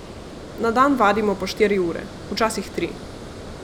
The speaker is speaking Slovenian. Na dan vadimo po štiri ure, včasih tri.